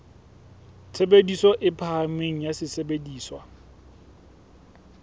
tshebediso e phahameng ya sesebediswa